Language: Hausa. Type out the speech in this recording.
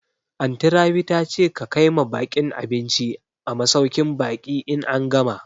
Anty Rabi ta ce ka kaima baƙin abinci a masauƙin baƙi in an gama